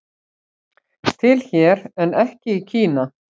Til hér en ekki í Kína